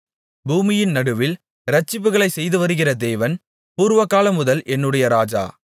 பூமியின் நடுவில் இரட்சிப்புகளைச் செய்துவருகிற தேவன் பூர்வகாலமுதல் என்னுடைய ராஜா